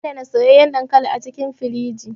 Ana adana soyayyan dankalin turawa a cikin firiji